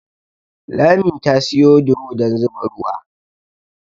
Lami ta siyo duro dan zuba ruwa